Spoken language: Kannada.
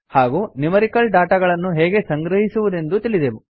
ಹಾಗೂ ನ್ಯೂಮೆರಿಕಲ್ ಡಾಟಾ ಗಳನ್ನು ಹೇಗೆ ಸಂಗ್ರಹಿಸುವುದೆಂದೂ ತಿಳಿದೆವು